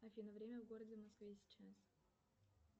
афина время в городе москве сейчас